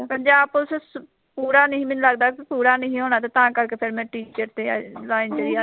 Punjab police ਸ ਪੂਰਾ ਨਹੀਂ ਮੈਨੂੰ ਲੱਗਦਾ ਨਹੀਂਉਂ ਲੱਗਦਾ ਤਾਂ ਕਰਕੇ ਫੇਰ ਮੈਂ teacher ਤੇ ਆਈ ਲਾਈਨ ਤੇ ਹੀ ਅੜ